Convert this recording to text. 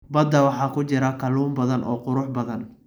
Badda waxaa ku jira kalluun badan oo qurux badan.